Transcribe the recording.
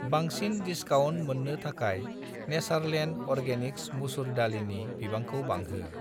बांसिन डिसकाउन्ट मोन्नो थाखाय नेचारलेण्ड अर्गेनिक्स मुसुर दालिनि बिबांखौ बांहो।